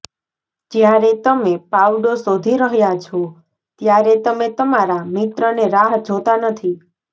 જ્યારે તમે પાવડો શોધી રહ્યાં છો ત્યારે તમે તમારા મિત્રોને રાહ જોતા નથી